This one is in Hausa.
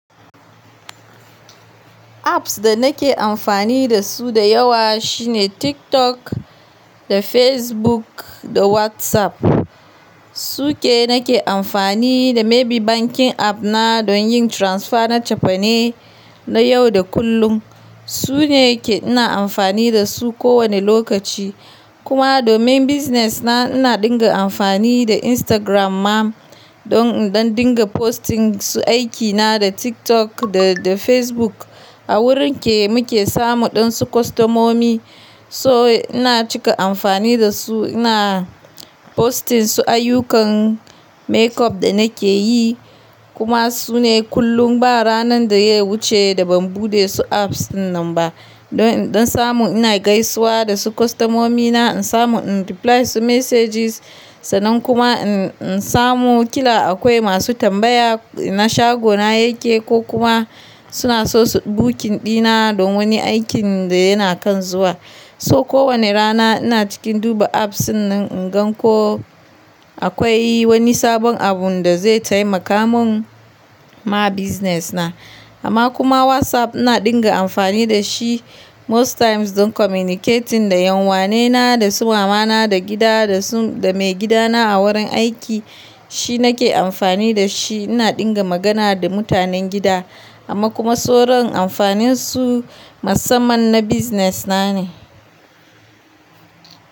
Apps da nake amfani da su da yawa shine TikTok da Facebook da WhatsApp. Su ke nake amfani da maybe bankin app na don yin transfer na tafine na yau da kullum. Su ne ke ina amfani da su ko wane lokaci. Kuma domin business na ina dinga amfani da Instagram ma don in ɗan dinga posting su aiki na da TikTok da, da Facebook a wurin ke muke samu ɗan su kostamomi. So ina cika amfani da su, ina posting su ayyukan makeup da nake yi. Kuma su ne kullum ba ranar da ya wuce da ban buɗe su apps nan ba. Don in ɗan samu ina gaisuwa da su kostomomi na, in samu in reply su messages. Sannan kuma in, in samu kila akwai masu tambaya na shago na yake ko kuma suna so su booking ɗina don wani aikin da yana kan zuwa. So ko wane rana ina cikin duba apps nan in gan ko akwai wani sabon abun da zai taimaka mun ma business na. Amma kuma WhatsApp ina dinga amfani da shi most times don communicating da 'yan uwa ne na, da su mama na da gida da su, da maigida na a wurin aiki. Shi nake amfani da shi ina dinga magana da mutanen gida. Amma kuma soron amfanin su musamman na business na ne.